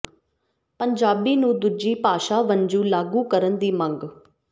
ਪੰਜਾਬੀ ਨੂੰ ਦੂਜੀ ਭਾਸ਼ਾ ਵਜੋਂ ਲਾਗੂ ਕਰਨ ਦੀ ਮੰਗ